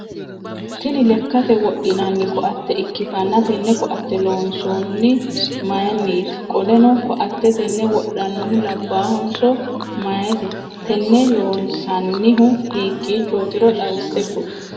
Tinni lekate wodhinnanni koate ikitanna tenne koate loonsoonni mayiniiti? Qoleno koate tenne wodhanohu labaahonso mayite? Tenne loonsannihu hikiichootiro xawise kuli?